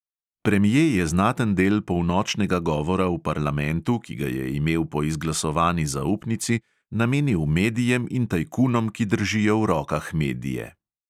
Premje je znaten del polnočnega govora v parlamentu, ki ga je imel po izglasovani zaupnici, namenil medijem in tajkunom, ki držijo v rokah medije.